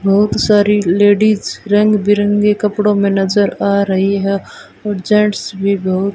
बहुत सारी लेडिज रंग बिरंगी कपड़ों में नजर आ रही है और जेंट्स भी बहुत --